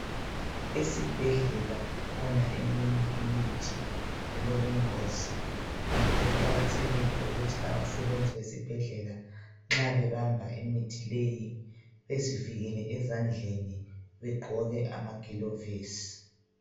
Esibhedlela kukhona eminye imithi elobungozi ngakho kuqakathekile ukuthi abasebenzi bezibhedlela nxa bebamba imithi leyi bezivikele ezandleni, begqoke amagilovisi.